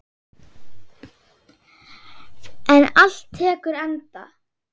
En allt tekur enda.